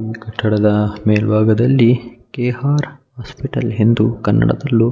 ಈ ಕಟ್ಟಡದ ಮೇಲ್ಭಾಗದಲ್ಲಿ ಕೆ.ಆರ್ ಹಾಸ್ಪಿಟಲ ಎಂದು ಕನ್ನಡದಲ್ಲೂ